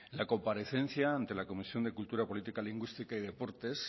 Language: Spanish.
la comparecencia ante la comisión de cultura política lingüística y deportes